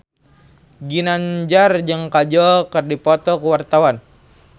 Ginanjar jeung Kajol keur dipoto ku wartawan